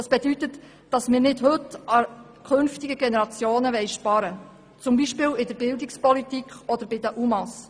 Das bedeutet, dass wir nicht heute bei den künftigen Generationen sparen wollen, zum Beispiel in der Bildungspolitik oder bei den UMA.